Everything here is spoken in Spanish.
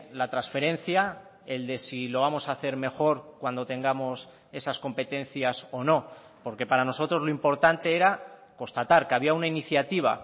la transferencia el de si lo vamos a hacer mejor cuando tengamos esas competencias o no porque para nosotros lo importante era constatar que había una iniciativa